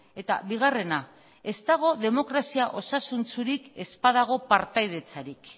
eta bigarrena ez dago demokrazia osasuntsurik ez badago partaidetzarik